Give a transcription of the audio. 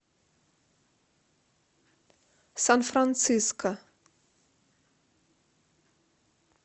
сан франциско